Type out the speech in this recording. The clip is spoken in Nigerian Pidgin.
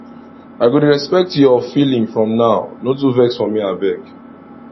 i go dey respect your feeling from now no too vex for me abeg